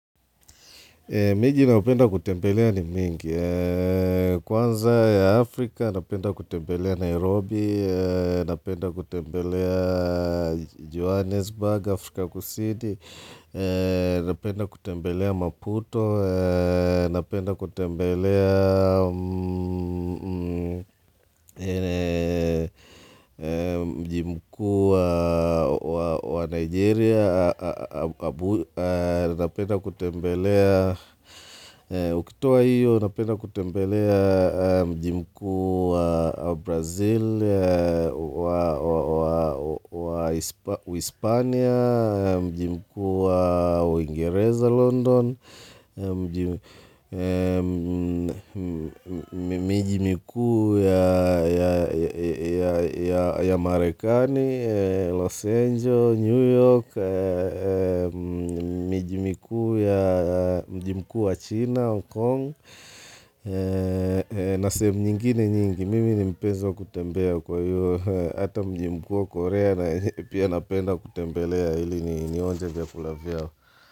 Miji ninayopenda kutembelea ni mingi. Kwanza ya Afrika, napenda kutembelea Nairobi, napenda kutembelea Johannesburg, Afrika kusini, napenda kutembelea Maputo, napenda kutembelea mji mkuu wa wa wa Nigeria abuja napenda kutembelea tokyo hiyo napenda kutembelea mji mkuu wa brazil wa wa wa wa hispania mji mkuu wa uingereza london mji miji mkuu ya ya ya ya ya marekani los angeles, new york Mji mkuu wa mji mkuu wa China, Hongkong na sehemu nyingine nyingi, mimi ni mpenzi wa kutembea kwa hiyo Ata mji mkuu wa Korea pia napenda kutembelea hili nionje vya kula vyao.